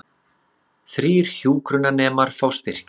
Þrír hjúkrunarnemar fá styrki